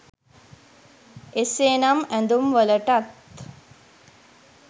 එසේ නම් ඇඳුම්වලටත්